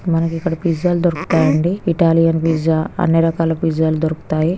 మనకి ఇక్కడ పిజ్జా లు దొరుకుతాయండి ఇటాలియన్ పిజ్జా అన్ని రకాల పిజ్జా లు దొరుకుతాయి.